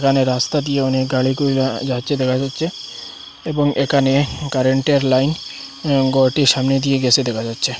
এখানে রাস্তা দিয়ে অনেক গাড়ি কইব়্যা যাচ্ছে দেখা যাচ্ছে এবং এখানে কারেন্টে র লাইন গরটির সামনে দিয়ে গেসে দেখা যাচ্ছে।